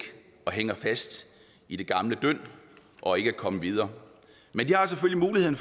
hænger fast i det gamle dynd og ikke er kommet videre men de har selvfølgelig muligheden